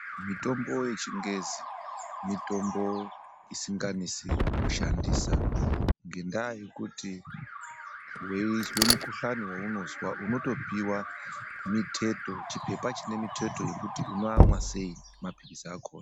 Mitombo yechingezi ,mitombo isinganesi kushandisa ngendaa yekuti weyizwe mukuhlane wawunozwa unotopiwa miteto ,chipepa chinemiteto yekuti unoamwa seyi mapirisi akona.